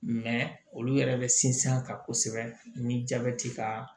Mɛ olu yɛrɛ bɛ sinsin a kan kosɛbɛ ni jabɛti ka